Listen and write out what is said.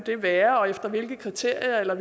være og hvilke kriterier og